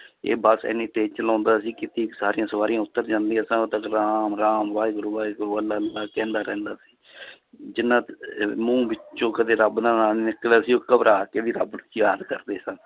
ਇਹ ਬਸ ਇੰਨੀ ਤੇਜ ਚਲਾਉਂਦਾ ਸੀ ਸਾਰੀਆਂ ਸਵਾਰੀਆਂਂ ਉੱਤਰ ਜਾਂਦੀਆਂ ਤਾਂ ਉਦੋਂ ਤੱਕ ਰਾਮ-ਰਾਮ, ਵਾਹਿਗੁਰੂ-ਵਾਹਿਗੁਰੂ, ਅੱਲਾ-ਅੱਲਾ ਕਹਿੰਦਾ ਰਹਿੰਦਾ ਸੀ ਜਿੰਨਾ ਦੇ ਮੂੰਹ ਵਿੱਚੋਂ ਕਦੇ ਰੱਬ ਦਾ ਨਾ ਨੀ ਨਿਕਲਿਆ ਸੀ ਉਹ ਘਬਰਾ ਕੇ ਵੀ ਰੱਬ ਨੂੰ ਯਾਦ ਕਰਦੇ ਸਨ